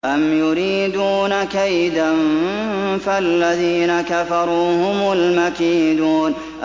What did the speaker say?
أَمْ يُرِيدُونَ كَيْدًا ۖ فَالَّذِينَ كَفَرُوا هُمُ الْمَكِيدُونَ